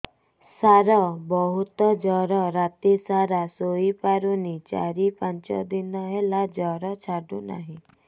ସାର ବହୁତ ଜର ରାତି ସାରା ଶୋଇପାରୁନି ଚାରି ପାଞ୍ଚ ଦିନ ହେଲା ଜର ଛାଡ଼ୁ ନାହିଁ